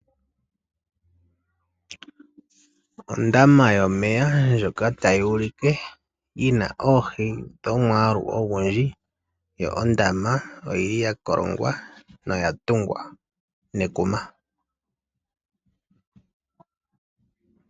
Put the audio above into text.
Ondama yomeya ndjoka tayi ulike yi na oohi dhomwaalu ogundji , yo ondama oyi li ya kolongwa noya tungwa nekuma .